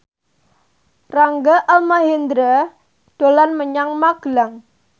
Rangga Almahendra dolan menyang Magelang